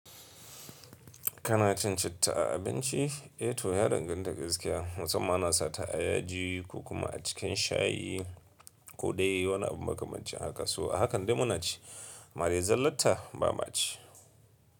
Kana cin citta a abinci? Eh to ya danganta gaskiya. Musamman ana sa ta a yaji ko kuma a cikin shayi ko dai wani abu makamancin haka. So ahakan dai muna ci. Amma dai zallata ba ma ci.